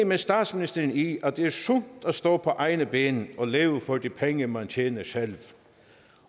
med statsministeren i at det er sundt at stå på egne ben og leve for de penge man tjener selv